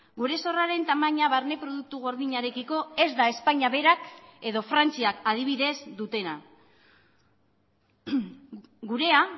gure zorraren tamaina barne produktu gordinarekiko ez da espainia berak edo frantziak adibidez dutena gurea